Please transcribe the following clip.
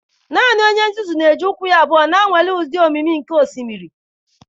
Naanị onye nzuzu na-eji ụkwụ ya abụọ na-anwale ịdị omimi nke osimiri”.